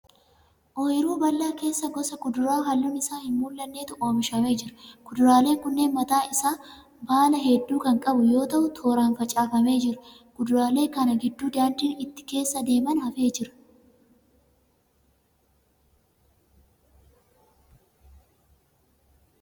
Oyiruu bal'aa keessa gosa kuduraa halluun isaa hin mul'annetu oomishamee jira. Kuduraaleen kunneen mataa isaa baala hedduu kan qabu yoo ta'u tooraan facaafamee jira. Kuduraalee kana gidduu daandiin itti keessa deemaan hafee jira.